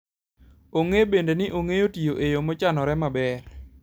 Ong'e bende ni ong'eyo tiyo e yo mochanore maber.